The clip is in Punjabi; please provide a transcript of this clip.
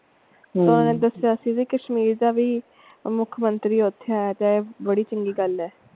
ਉਹਨਾਂ ਨੇ ਦਸਿਆ ਸੀ ਕਿ ਕਸ਼ਮੀਰ ਦਾ ਵੀ ਮੁੱਖਮੰਤਰੀ ਓਥੇ ਆ ਸੀ ਬੜੀ ਚੰਗੀ ਗੱਲ ਹੈ।